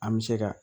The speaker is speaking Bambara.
An bɛ se ka